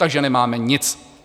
Takže nemáme nic.